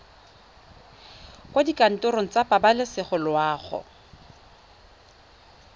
kwa dikantorong tsa pabalesego loago